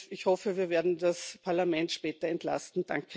Ich hoffe, wir werden das Parlament später entlasten.